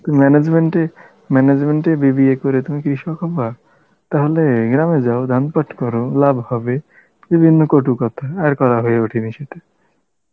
management এ management এ BBA করে তুমি কৃষক হবা? তাহলে গ্রামে যাও ধান পাট করো লাভ হবে, বিভিন্ন কটু কথা, আর করা হয়ে ওঠেনি সেটা